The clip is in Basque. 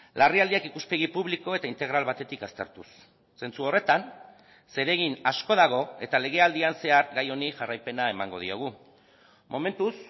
larrialdiak ikuspegi publiko eta integral batetik aztertuz zentzu horretan zeregin asko dago eta legealdian zehar gai honi jarraipena emango diogu momentuz